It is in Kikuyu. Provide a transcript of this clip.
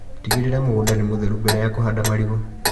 Tigĩrĩra mũgunda nĩ mũtheru mbere ya kũhanda marigũ.